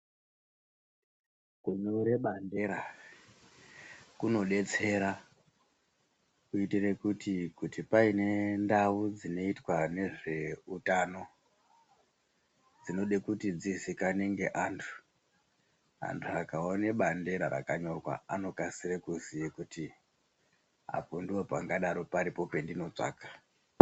Kunyore bandera kunodetsera kuitire kuti kuti pane ndau dzinoitwa nezveutano dzinode kuti dzizikanwe neantu, antu akaone bandera rakanyorwa anokasire kuziye kuti apo ndopangadaro paripo pendinotsvaga.